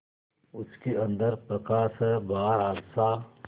उसके अंदर प्रकाश है बाहर आशा